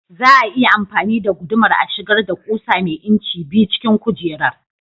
Za a iya amfani da gudumar a shigar da ƙusa mai inci biyu cikin kujerar?